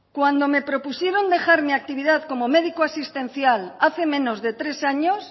cuando me propusieron dejar mi actividad como médico asistencial hace menos de tres años